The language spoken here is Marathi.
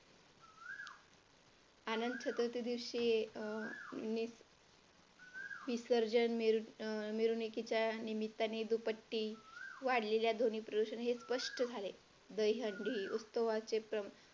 आनंद दिवशी विसर्जन मिरवणुकीच्या निमित्ताने दुपट्टे वाढलेल्या ध्वनी प्रदूषण हे स्पष्ट झाले दहीहंडी उत्सवाचे प्रमाण